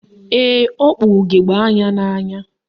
Ee, o kpu ugegbe anya n'anya.